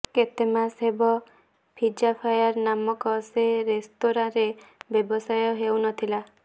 କେତେ ମାସ ହେବ ପିଜ୍ଜାଫାୟାର୍ ନାମକ ସେ ରେସ୍ତୋରାଁରେ ବ୍ୟବସାୟ ହେଉ ନ ଥିଲା